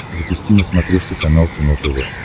запусти на смотрешке канал кино тв